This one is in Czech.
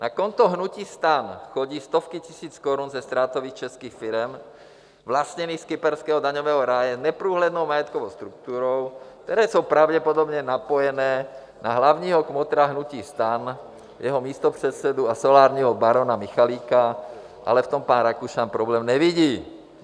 Na konto hnutí STAN chodí stovky tisíc korun ze ztrátových českých firem vlastněných z kyperského daňového ráje neprůhlednou majetkovou strukturou, které jsou pravděpodobně napojené na hlavního kmotra hnutí STAN, jeho místopředsedu a solárního barona Michalika, ale v tom pan Rakušan problém nevidí.